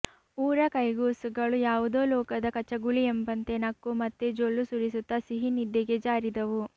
ಊರ ಕೈಗೂಸುಗಳು ಯಾವುದೋ ಲೋಕದ ಕಚಗುಳಿಯೆಂಬಂತೆ ನಕ್ಕು ಮತ್ತೆ ಜೊಲ್ಲು ಸುರಿಸುತ್ತ ಸಿಹಿ ನಿದ್ದೆಗೆ ಜಾರಿದವು